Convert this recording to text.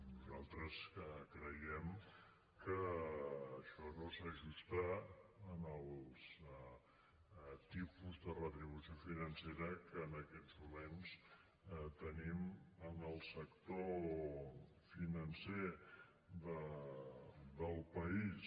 nosaltres creiem que això no s’ajusta als tipus de retribució financera que en aquests moments tenim en el sector financer del país